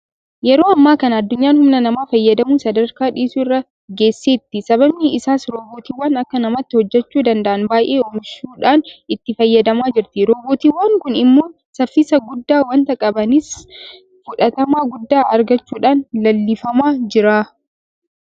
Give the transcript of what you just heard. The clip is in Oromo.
Yeroo ammaa kana addunyaan humna namaa fayyadamuu sadarkaa dhiisuu irra geesseetti. Sababni isaas Roobootiiwwan akka namaatti hojjechuu danda'an baay'ee oomishuudhaan itti fayyadamaa jirti. Roobootiiwwan kun immoo saffisa guddaa waanta qabaniif fudhatama guddaa argachuudhaan leellifamaa jira.